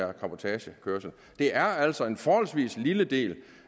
er cabotagekørsel det er altså en forholdsvis lille del